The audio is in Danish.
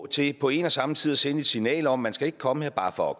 til på en og samme tid at sende et signal om at skal komme her bare for at